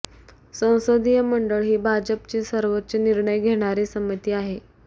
संसदीय मंडळ ही भाजपची सर्वोच्च निर्णय घेणारी समिती आहे